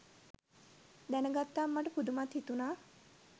දැනගත්තම මට පුදුමත් හිතුනා.